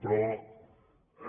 però